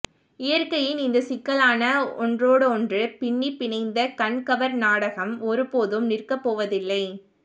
இயற்கையின் இந்தச் சிக்கலான ஒன்றோடொன்று பின்னிப் பிணைந்த கண்கவர் நாடகம் ஒரு போதும் நிற்கப் போவதில்லை